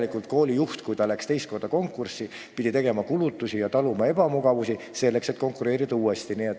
Nii et koolijuht, kui ta läks teist korda konkursile, pidi enne tegema kulutusi ja taluma ebamugavusi.